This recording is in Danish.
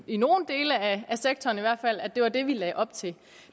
i nogle dele af sektoren i hvert fald at det var det vi lagde op til